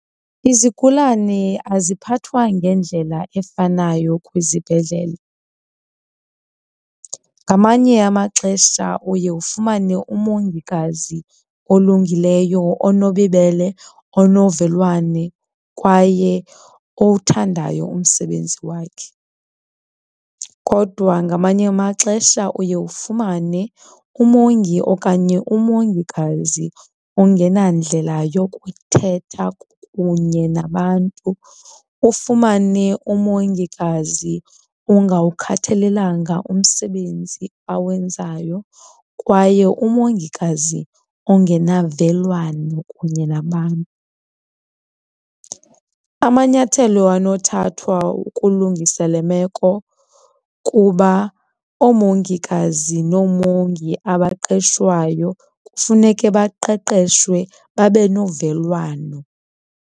Izigulane aziphathwa ngendlela efanayo kwizibhedlele. Ngamanye amaxesha uye ufumane umongikazi olungileyo onobubele, onovelwane kwaye owuthandayo umsebenzi wakhe. Kodwa ngamanye amaxesha uye ufumane umongi okanye umongikazi ongenandlela yokuthetha kunye nabantu, ufumane umongikazi ongawukhathalelanga umsebenzi awenzayo kwaye umongikazi ongenavelwano kunye nabantu. Amanyathelo anothathwa ukulungisa le meko kuba oomongikazi noomongi abaqeshwayo kufuneke baqeqeshwe babe novelwano.